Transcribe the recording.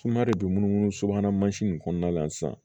de be munumunu subahana mansin in kɔnɔna la sisan